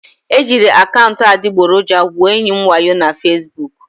E jiri akaụntụ adịgboroja gwuo enyi m wayo na Fesbuku